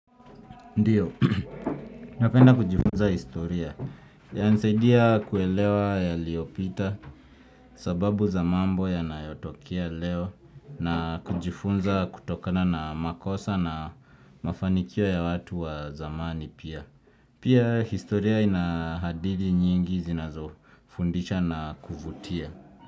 Ndiyo, napenda kujifunza historia ya nsaidia kuelewa ya liopita sababu za mambo ya nayotokia leo na kujifunza kutokana na makosa na mafanikio ya watu wa zamani pia. Pia historia inahadidi nyingi zinazo fundicha na kuvutia.